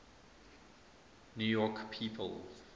new york people